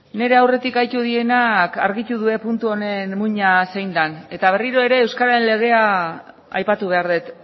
nire aurretik aritu direnak argitu dute puntu honen muina zein den eta berriro ere euskararen legea aipatu behar dut